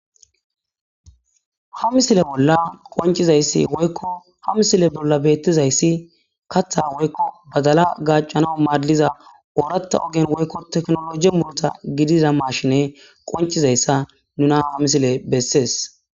ha misile bolla qoncizayssi woykko ha misile bolla beettizayssi katha woykko badala gacanao maadliza ooratta ogen woykko teknoloji murota gidiza maashine qoncizayssa nunaha misile bessees